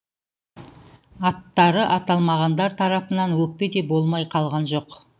аттары аталмағандар тарапынан өкпе де болмай қалған жоқ